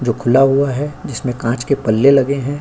जो खुला हुआ है। जिसमें कांच के पल्ले लगे हैं।